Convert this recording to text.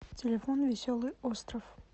телефон веселый остров